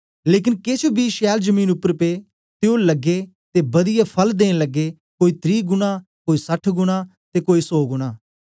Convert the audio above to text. लेकन केछ बी छैल जमीन उपर पे ते ओ लग्गे ते बदियै फल देन लग्गेकोई त्री गुणा कोई सठ गुणा ते कोई सौ गुणा